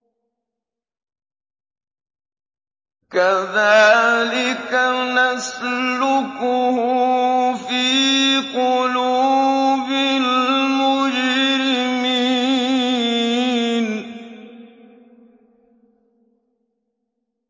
كَذَٰلِكَ نَسْلُكُهُ فِي قُلُوبِ الْمُجْرِمِينَ